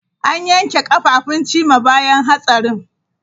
An yanke kafafun Chima bayan hatsarin.